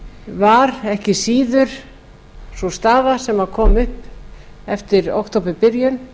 var ekki síður sú staða sem kom upp eftir októberbyrjun